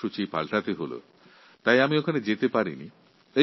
তাই সুগম্য ভারত অভিযান অনুষ্ঠানে উপস্থিত থাকতে পারিনি